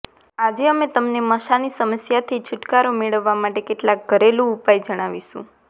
આજે અમે તમને મસાની સમસ્યાથી છૂટકારો મેળવવા માટે કેટલાક ઘરેલું ઉપાય જણાવીશું